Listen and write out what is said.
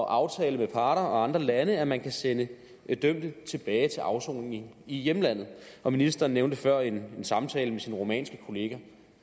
at aftale med parter og andre lande at man kan sende dømte tilbage til afsoning i hjemlandet og ministeren nævnte før en samtale med sin rumænske kollega